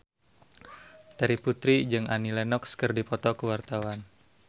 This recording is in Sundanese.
Terry Putri jeung Annie Lenox keur dipoto ku wartawan